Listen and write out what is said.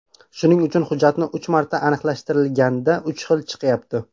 Shuning uchun hujjatni uch marta aniqlashtirishganda uch xil chiqyapti.